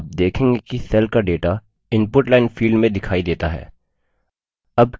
आप देखेंगे कि cell का data input line field में दिखाई data है